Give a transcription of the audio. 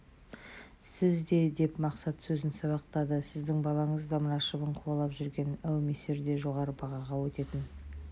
сіз де деп мақсат сөзін сабақтады сіздің балаңыз да мына шыбын қуалап жүрген әумесер де жоғары бағаға өтетін